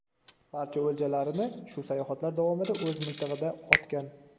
Barcha o‘ljalarini shu sayohatlar davomida o‘z miltig‘ida otgan.